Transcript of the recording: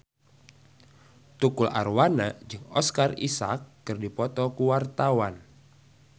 Tukul Arwana jeung Oscar Isaac keur dipoto ku wartawan